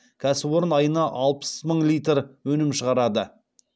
кәсіпорын айына алпыс мың литр өнім шығарады